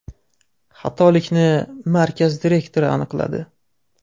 Xatolikni markaz direktori aniqladi.